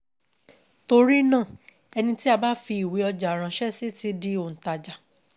Torí náà, ẹni tí a bá fi ìwé ọjà ránṣẹ́ sí ti di òǹtajà..